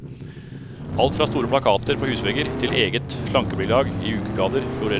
Alt fra store plakater på husvegger til egen slankebilag i ukeblader florerer.